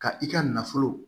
Ka i ka nafolo